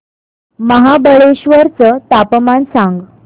महाबळेश्वर चं तापमान सांग